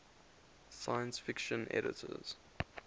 science fiction editors